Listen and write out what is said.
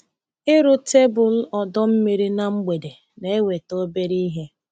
Ịrụ tebụl ọdọ mmiri na mgbede na-enweta obere ihe.